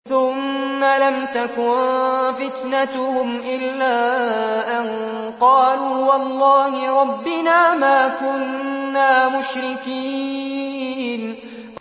ثُمَّ لَمْ تَكُن فِتْنَتُهُمْ إِلَّا أَن قَالُوا وَاللَّهِ رَبِّنَا مَا كُنَّا مُشْرِكِينَ